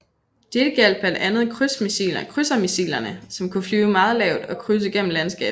Dette gjaldt blandt andet krydsermissilerne som kunne flyve meget lavt og krydse gennem landskabet